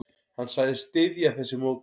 Hann sagðist styðja þessi mótmæli.